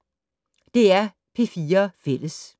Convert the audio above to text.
DR P4 Fælles